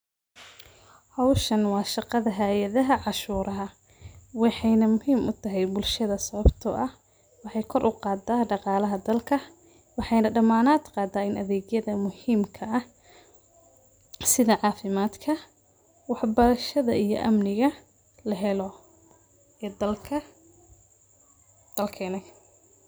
Howshaan wa shaqada hayadaha canshuraha wexey muhiim utahay bulshada swabto wexey kor uqada daqalaha wexeyna damad qadan ini adegyada muhiimka ah sida cafimadka wax barashada iyo amniga lahelo dalkena.